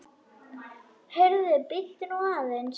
Heyrðu, bíddu nú aðeins!